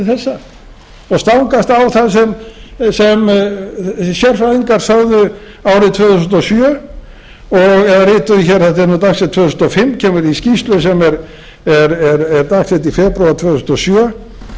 þessa og stangast á það sem sérfræðingar sögðu árið tvö þúsund og sjö eða rituðu hér þetta er dagsett tvö þúsund og fimm kemur í skýrslu sem er dagsett í febrúar tvö þúsund og sjö þannig